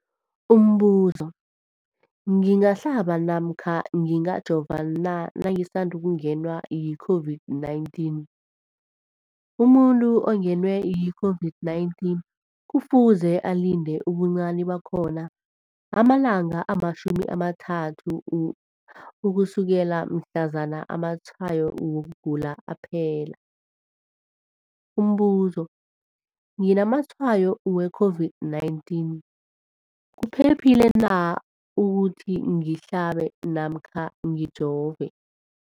Umbuzo, ngingahlaba namkha ngingajova na nangisandu kungenwa yi-COVID-19? Umuntu ongenwe yi-COVID-19 kufuze alinde ubuncani bakhona ama-30 wama langa ukusukela mhlazana amatshayo wokugula aphela. Umbuzo, nginamatshayo we-COVID-19, kuphephile na ukuthi ngihlabe namkha ngijove?